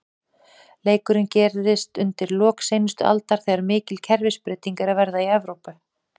Leikurinn gerist undir lok seinustu aldar, þegar mikil kerfisbreyting er að verða í Evrópu.